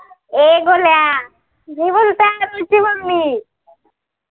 ए गोळ्या म्हणते तुझी मम्मी